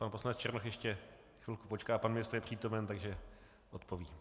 Pan poslanec Černoch ještě chvilku počká, pan ministr je přítomen, takže odpoví.